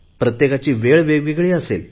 प्रत्येकाची वेळ वेगवेगळी आहे